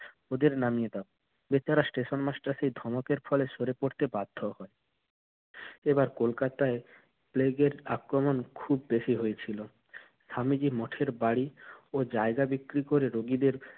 ওদের নামিয়ে দাও। বেচারা station master সেই ধমকের ফলে সরে পড়তে বাধ্যহয়। এবার কোলকাতায় প্লেগের আক্রমণ খুব বেশি হয়েছিল। স্বামীজি মঠের বাড়ি ও জায়গা বিক্রি করে রোগীদের